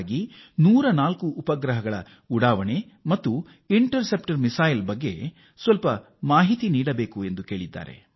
ಹೀಗಾಗಿ ಇತ್ತೀಚೆಗೆ 104 ಉಪಗ್ರಹಗಳನ್ನು ಉಡಾವಣೆ ಮಾಡಿದ ಹಾಗೂ ಪ್ರತಿಬಂಧಕ ಕ್ಷಿಪಣಿ ಬಗ್ಗೆ ನಾನು ಕೆಲವು ಮಾಹಿತಿ ಕೊಡಬೇಕು ಎಂದು ಅವರು ಬಯಸಿದ್ದಾರೆ